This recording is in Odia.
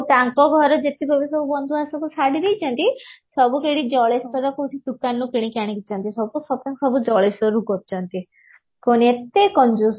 ତାଙ୍କ ଘର ଯେତିକ ବି ସବୁ ବନ୍ଧୁ ଶାଢୀ ଦେଇଛନ୍ତି ସବୁ କୋଉଠି ଜଳେଶ୍ବର କୋଉଠି ଦୁକାନ ରୁ କିଣିକି ଆଣିଛନ୍ତି ସବୁ shopping ସବୁ ଜଳେଶ୍ବର ରୁ କରିଛନ୍ତି କଣ ଏତେ କଞ୍ଜୁସ